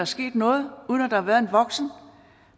sket noget og uden at der har været en voksen